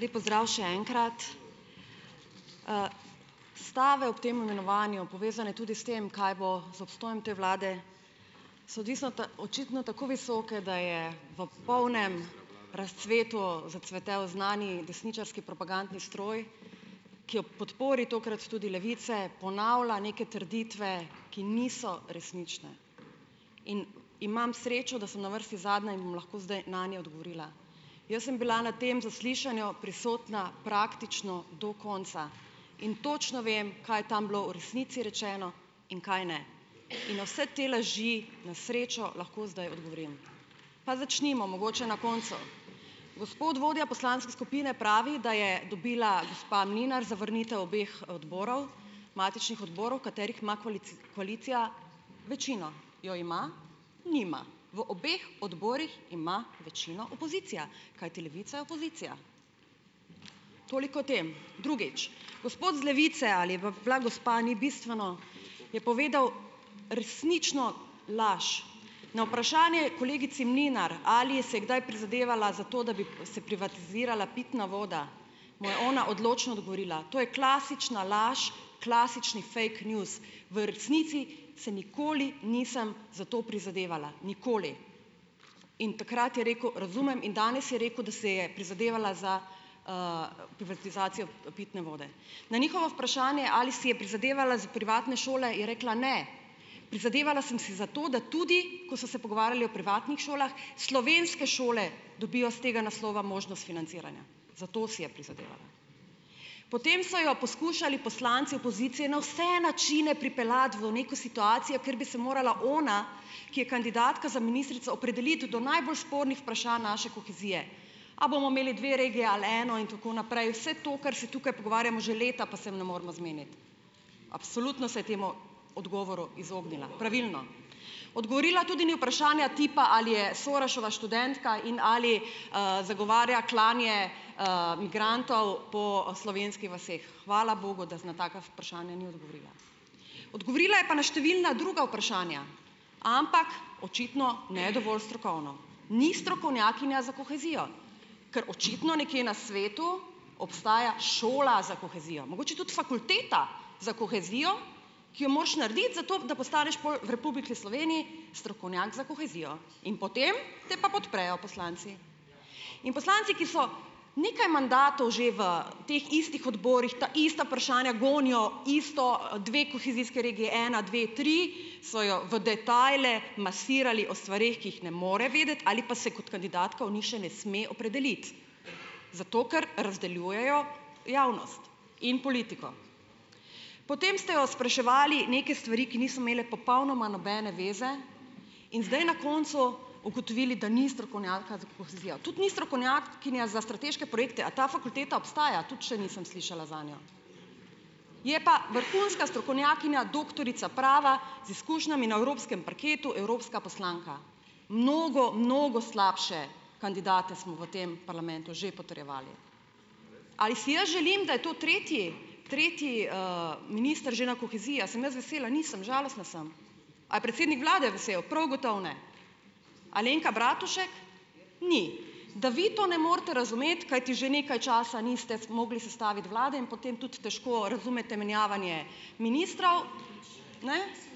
Lep pozdrav še enkrat. stave ob tem imenovanju, povezane tudi s tem, kaj bo z obstojem te vlade, so odvisno očitno tako visoke, da je v polnem razcvetu zacvetel znani desničarski propagandni stroj, ki ob podpori tokrat tudi Levice ponavlja neke trditve, ki niso resnične. In imam srečo, da sem na vrsti zadnja in bom lahko zdaj nanje odgovorila. Jaz sem bila na tem zaslišanju prisotna praktično do konca in točno vem, kaj je tam bilo v resnici rečeno in kaj ne. In na vse te laži na srečo lahko zdaj odgovorim. Pa začnimo mogoče na koncu. Gospod vodja poslanske skupine pravi, da je dobila gospa Mlinar zavrnitev obeh odborov, matičnih odborov, katerih ima koalicija večino. Jo ima? Nima. V obeh odborih ima večino opozicija, kajti Levica je opozicija. Toliko o tem. Drugič; gospod iz Levice ali je pa bila gospa, ni bistveno, je povedal resnično laž. Na vprašanje kolegici Mlinar, ali je se kdaj prizadevala za to, da bi se privatizirala pitna voda, mu je ona odločno odgovorila, to je klasična laž, klasični fake news. V resnici se nikoli nisem za to prizadevala. Nikoli. In takrat je rekel, razumem, in danes je rekel, da se je prizadevala za, pitne vode. Na njihovo vprašanje, ali si je prizadevala privatne šole, je rekla ne. Prizadevala sem si za to, da tudi, ko so se pogovarjali o privatnih šolah, slovenske šole dobijo s tega naslova možnost financiranja. Za to si je prizadevala. Potem so jo poskušali poslanci opozicije na vse načine pripeljati v neko situacijo, kjer bi se morala ona, ki je kandidatka za ministrico, opredeliti do najbolj spornih vprašanj naše kohezije. A bomo imeli dve regiji eno in tako naprej, vse to, kar se tukaj pogovarjamo že leta, pa se ne moremo zmeniti. Absolutno se je temu odgovoru izognila. Pravilno. Odgovorila tudi ni vprašanja tipa, ali je Soroševa študentka in ali, zagovarja klanje, migrantov po, slovenskih vaseh. Hvala bogu, da na taka vprašanja ni odgovorila. Odgovorila je pa na številna druga vprašanja, ampak očitno ne dovolj strokovno. Ni strokovnjakinja za kohezijo. Ker očitno nekje na svetu obstaja šola za kohezijo. Mogoče tudi fakulteta za kohezijo, ki jo moraš narediti, zato da postaneš pol v Republiki Sloveniji strokovnjak za kohezijo. In potem te pa podprejo poslanci. In poslanci, ki so nekaj mandatov že v teh istih odborih, ta ista vprašanja gonijo isto, dve kohezijski regiji, ena, dve, tri, so jo v detajle masirali o stvareh, ki jih ne more vedeti ali pa se kot kandidatka o njih še ne sme opredeliti. Zato, ker razdeljujejo javnost in politiko. Potem ste jo spraševali neke stvari, ki niso imele popolnoma nobene zveze. In zdaj na koncu ugotovili, da ni strokovnjaka za kohezijo. Tudi ni strokovnjakinja za strateške projekte, a ta fakulteta obstaja? Tudi še nisem slišala zanjo. Je pa vrhunska strokovnjakinja, doktorica prava z izkušnjami na evropskem parketu, evropska poslanka. Mnogo, mnogo slabše kandidate smo v tem parlamentu že potrjevali. Ali si jaz želim, da je to tretji, tretji minister že na koheziji, sem jaz vesela, nisem, žalostna sem. A je predsednik vlade vesel? Prav gotovo ne. Alenka Bratušek ni. Da vi to ne morete razumeti, kajti že nekaj časa niste zmogli sestaviti vlade in potem tudi težko razumete menjavanje ministrov,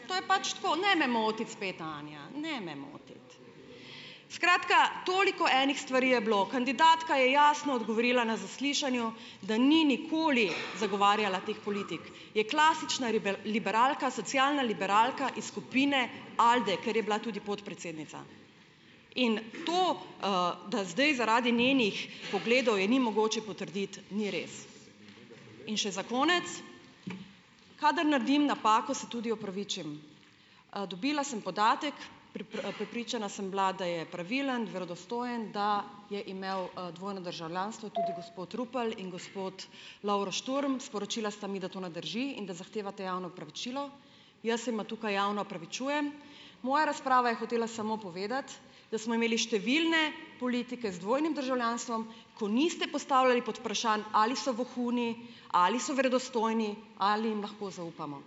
to je pač tako, ne me motiti spet, Anja, ne me motiti. Skratka, toliko enih stvari je bilo, kandidatka je jasno dogovorila na zaslišanju, da ni nikoli zagovarjala teh politik. Je klasična liberalka, socialna liberalka iz skupine Alde, ker je bila tudi podpredsednica in to, da zdaj zaradi njenih pogledov je ni mogoče potrditi, ni res. In še za konec, kadar naredim napako, se tudi opravičim. dobila sem podatek, prepričana sem bila, da je pravilen, verodostojen, da je imel, dvojno državljanstvo tudi gospod Rupel in gospod Lovro Šturm, sporočila sta mi, da to ne drži in da zahtevata javno opravičilo. Jaz se jima tukaj javno opravičujem. Moja razprava je hotela samo povedati, da smo imeli številne politike z dvojnim državljanstvom, ko niste postavljali podvprašanj, ali so vohuni, ali so verodostojni, ali jim lahko zaupamo.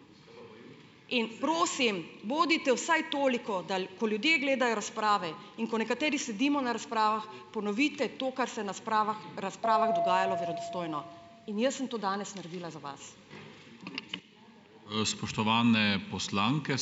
In prosim, bodite vsaj toliko, da ko ljudje gledajo razprave in ko nekateri sedimo na razpravah, ponovite to, kar se na spravah razpravah dogajalo, verodostojno in jaz sem to danes naredila za vas.